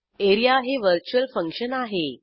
A R E A हे virtual function आहे